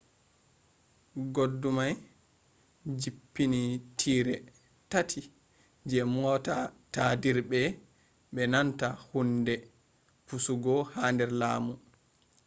goddumai jippini tire tati je mota tadirbe be nanta hunde pusugo ha der lamu